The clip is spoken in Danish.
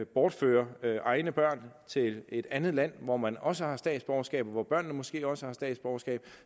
bortfører egne børn til et andet land hvor man også har statsborgerskab og hvor børnene måske også har statsborgerskab